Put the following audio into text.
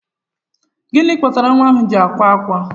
Gịnị kpatara nwa ahụ ji akwa ákwá?